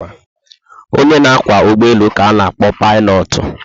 Onye na kwá ụgbọelu ka ana- akpọ Paịlọọtụ